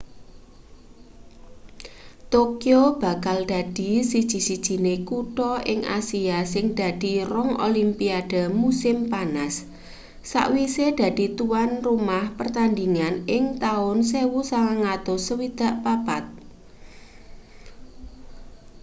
tokyo bakal dadi siji-sijiné kutha ing asia sing dadi rong olimpiade musim panas sawise dadi tuwan omah pertandhingan ing taun 1964